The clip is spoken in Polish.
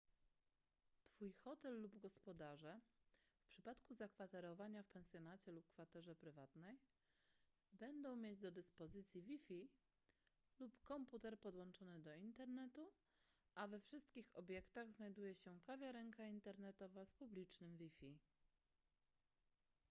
twój hotel lub gospodarze w przypadku zakwaterowania w pensjonacie lub kwaterze prywatnej będą mieć do dyspozycji wi-fi lub komputer podłączony do internetu a we wszystkich obiektach znajduje się kawiarenka internetowa z publicznym wi-fi